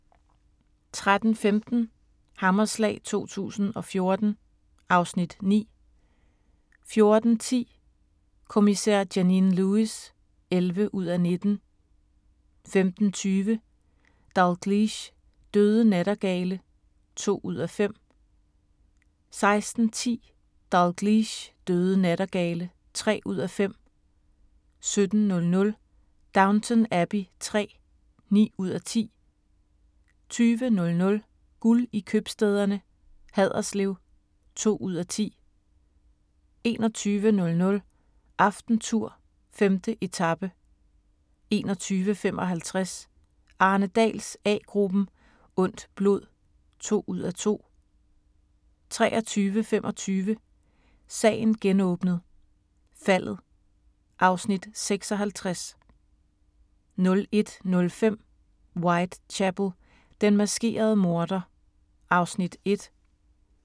13:15: Hammerslag 2014 (Afs. 9) 14:10: Kommissær Janine Lewis (11:19) 15:20: Dalgliesh: Døde nattergale (2:5) 16:10: Dalgliesh: Døde nattergale (3:5) 17:00: Downton Abbey III (9:10) 20:00: Guld i købstæderne - Haderslev (2:10) 21:00: AftenTour: 5. etape 21:55: Arne Dahls A-gruppen: Ondt blod (2:2) 23:25: Sagen genåbnet: Faldet (Afs. 56) 01:05: Whitechapel: Den maskerede morder (Afs. 1)